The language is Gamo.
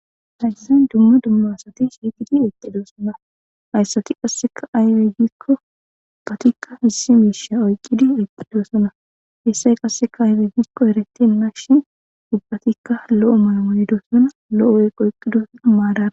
Hayisan dumma dumma asati shiiqidi eqqidosona hayssati qasseka aybe gikko ubbatikka hissi miisha oyqqidi eqqidosona hessay qasseka aybe gikko ereten magshin ubbatikka lo'o maamoyidosona lo'qoyqqidosonaa maada.